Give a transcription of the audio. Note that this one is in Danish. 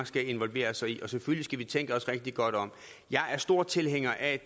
skal involvere sig i og selvfølgelig skal vi tænke os rigtig godt om jeg er stor tilhænger af